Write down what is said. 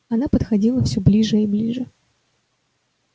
она подходила всё ближе и ближе